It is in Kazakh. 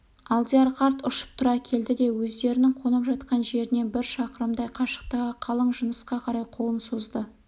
алдияр қарт ұшып тұра келді де өздерінің қонып жатқан жерінен бір щақырымдай қашықтағы қалың жынысқа қарай қолын созды